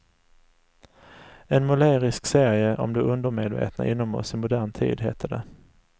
En målerisk serie om det undermedvetna inom oss i modern tid, hette det.